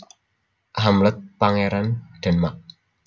Hamlet Pangeran Denmark